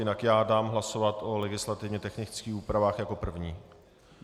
Jinak já dám hlasovat o legislativně technických úpravách jako první.